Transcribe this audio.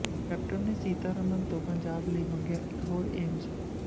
captain ਨੇ ਸੀਤਾਰਮਨ ਤੋਂ ਪੰਜਾਬ ਲਈ ਮੰਗਿਆ ਇਕ ਹੋਰ ਏਮਜ਼